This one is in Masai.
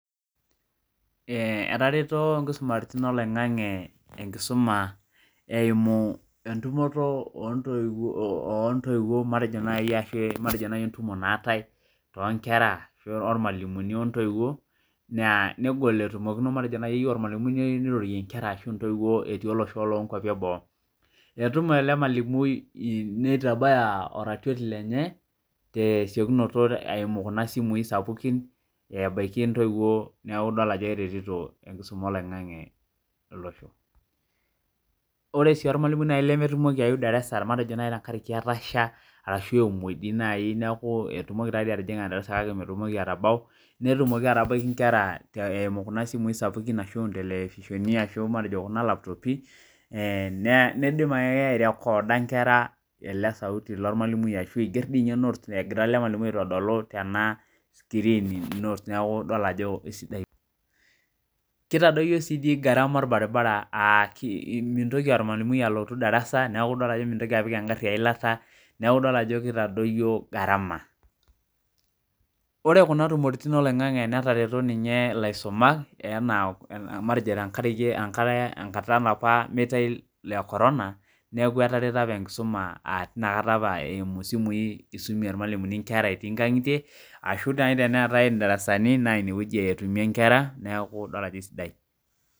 Ee etareto nkisumaritin oloingangi enkisuma eimu ntoiwuo matejo nai entumo naate tonkera ormalimuni ontoiwuo matejo nirorie nkwra ashu ntoiwuo etii olosho leboo etum enamalimui nitabaya oratioti lenye tesiokinoto eimu kuna simui sapukin neaku idol ajo keretito olosho ore si ormalimui lemetumoki aaeu darasa matejo tenkaraki etasha ashubemoi netumoki atabaki nkera eimu kuna simui sapukin ashu ntelefoshoni ashu kuna laptopi nidim airekoda nkera elesauti egira ormalimulini aitodolu ena sikirin neaku idol ajo kesidai ena kitadoyio si garama orbaribara amu idol ajo mitoki ormalimui aeu darasa neaku idol ajo kitadoyio garama ore kunatumorin oloingangi netereto laisumak tenkata olaapa metae lekorona neaku eretoto apa nkera Oleng eimu simui isumie irmalimulini nkera etii nkangitie neaku idol ajo esidai